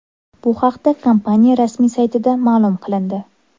Bu haqda kompaniya rasmiy saytida ma’lum qilindi .